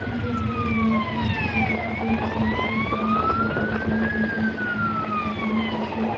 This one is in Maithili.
यह एक बहुत बड़ा पार्क छै जे की दोनों साइड से सड़क छै और वो सड़क के बीच में बड़ा-बड़ा ब्रीज छै।